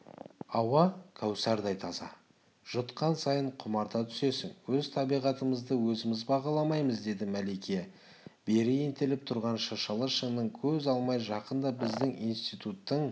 ауа кәусардай таза жұтқан сайын құмарта түсесің өз табиғатымызды өзіміз бағаламаймыз деді мәлике бері ентелеп тұрған шыршалы шыңнан көз алмай жақында біздің институттың